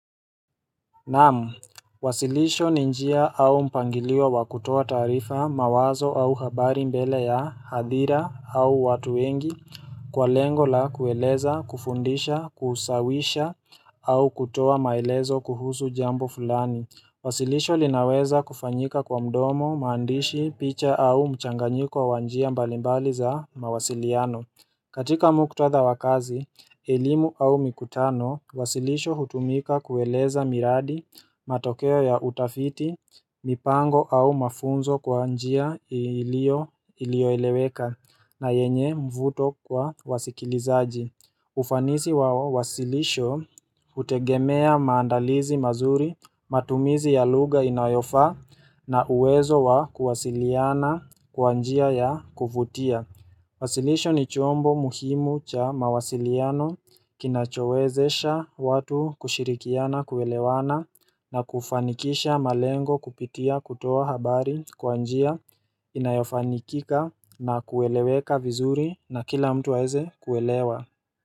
Naam wasilisho ni njia au mpangilio wa kutoa taarifa mawazo au habari mbele ya hadhira au watu wengi Kwa lengo la kueleza kufundisha kusawisha au kutoa maelezo kuhusu jambo fulani Wasilisho linaweza kufanyika kwa mdomo maandishi picha au mchanganyiko wa wa njia mbalimbali za mawasiliano katika muktatha wa kazi, ellimu au mikutano, wasilisho hutumika kueleza miradi, matokeo ya utafiti, mipango au mafunzo kwa njia ilioeleweka na yenye mvuto kwa wasikilizaji. Ufanisi wao wasilisho, hutegemea maandalizi mazuri, matumizi ya lugha inayofaa na uwezo wa kuwasiliana kwa njia ya kuvutia. Wasilisho ni chombo muhimu cha mawasiliano kinachowezesha watu kushirikiana kuelewana na kufanikisha malengo kupitia kutoa habari kwa njia inayofanikika na kueleweka vizuri na kila mtu aweze kuelewa.